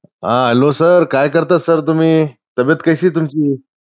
हां hello sir, काय करता sir तुम्ही? तब्बेत कशी आहे तुमची?